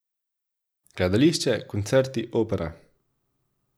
Gledališče, koncerti, opera.